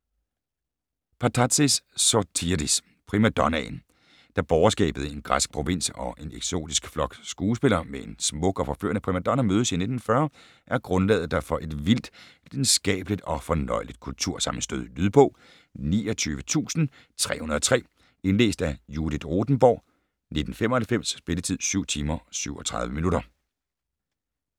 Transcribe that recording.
Patatzis, Sotiris: Primadonnaen Da borgerskabet i en græsk provins og en eksotisk flok skuespillere med en smuk og forførende primadonna mødes i 1940 er grundlaget der for et vildt, lidenskabeligt og fornøjeligt kultursammenstød. Lydbog 29303 Indlæst af Judith Rothenborg, 1995. Spilletid: 7 timer, 37 minutter.